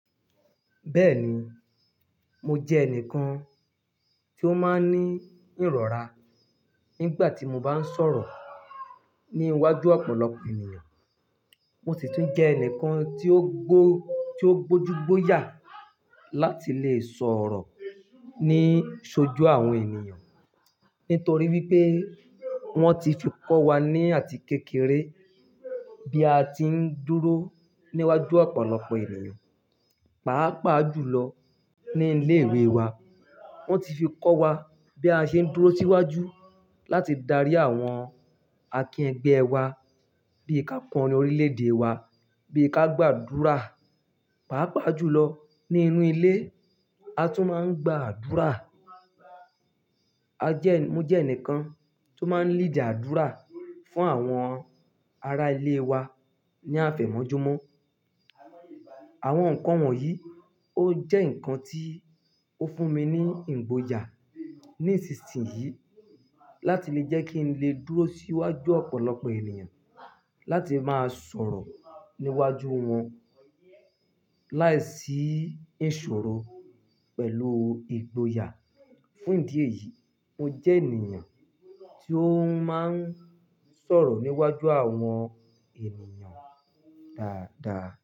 Bẹ́ẹ̀ni, mo jẹ́ ẹnìkan tí ó máa ń ní ìrọ̀ra nígbà tí mo bá ń sọ̀rọ̀ ní iwájú ọ̀pọ̀lọpọ̀ ènìyàn. Mo sì tún jẹ́ ẹnìkan tí ó gbó, tí ó gbójú gbóyà láti lè sọ̀rọ̀ ní ṣojú àwọn ènìyàn. Nítorí wípé wọ́n ti fi kọ́ wa ní àti kékeré bí a ti ń dúró níwájú ọ̀pọ̀lọpọ̀ ènìyàn. Pàápàá jùlọ ní ilé ìwé wa, wọ́n ti fi kọ́ wa bí a ṣe ń dúró síwájú láti darí àwọn akín ẹgbẹ́ wa, bí ká kọrin órílẹ̀ èdè wa, bí ká gbàdúrà. Pàápàá jùlọ ní inú ilé, a tún máa ń gbàdúrà. A jẹ́, mo jẹ́ ẹnìkan tó máa ń lead àdúrà fún àwọn ará ilé wa ní àfẹ̀mọ́júmọ́. Àwọn nǹkan wọ̀nyí ó jẹ́ nǹkan tí ó fún mi ní ìgboyà ní ìsinsìnyí láti lè jẹ́ kí n lè dúró síwájú ọ̀pọ̀lọpọ̀ ènìyàn, láti máa sọ̀rọ̀ níwájú wọn láìsí ìṣòro pẹ̀lú ìgboyà. Fún ìdí èyí, mo jẹ́ ènìyàn tí ó máa ń sọ̀rọ̀ níwájú àwọn ènìyàn dáadáa.